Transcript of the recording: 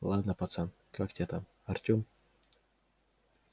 ладно пацан как тебя там артем